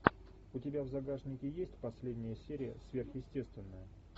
у тебя в загашнике есть последняя серия сверхъестественного